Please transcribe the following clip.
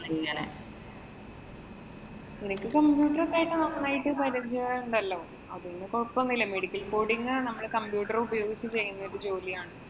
ഇങ്ങനെ. നിനക്ക് computer ഒക്കെയായിട്ട്‌ നന്നായിട്ട് പരിചയമുണ്ടല്ലോ. അതുകൊണ്ട് കൊഴപ്പമൊന്നുമില്ല. medical coding നമ്മള് computer ഉപയോഗിച്ച് ചെയ്യുന്ന ഒരു ജോലിയാണ്.